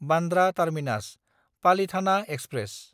Bandra टार्मिनास–पालिथाना express